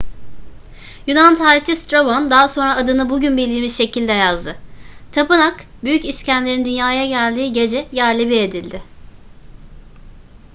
yunan tarihçi strabon daha sonra adını bugün bildiğimiz şekilde yazdı. tapınak büyük i̇skender'in dünyaya geldiği gece yerle bir edildi